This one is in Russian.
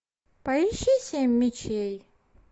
поищи семь мечей